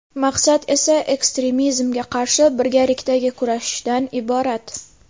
Maqsad esa ekstremizmga qarshi birgalikdagi kurashishdan iborat.